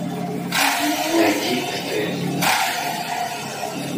найди стс